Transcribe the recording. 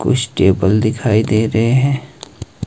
कुछ टेबल दिखाई दे रहे हैं।